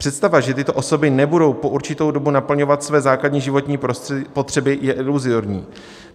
Představa, že tyto osoby nebudou po určitou dobu naplňovat své základní životní potřeby, je iluzorní.